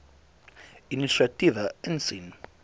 inisiatiewe insien